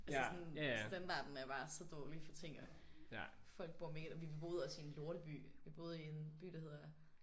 Altså sådan standarden er bare så dårlig for ting og folk bor vi boede også i en lorteby vi boede i en by der hedder